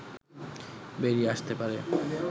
বেরিয়ে আসতে পারে